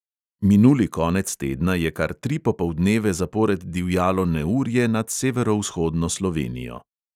Minuli konec tedna je kar tri popoldneve zapored divjalo neurje nad severovzhodno slovenijo.